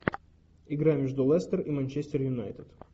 игра между лестер и манчестер юнайтед